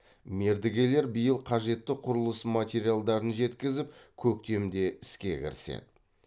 мердігелер биыл қажетті құрылыс материалдарын жеткізіп көктемде іске кіріседі